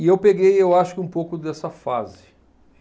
E eu peguei, eu acho que um pouco dessa fase.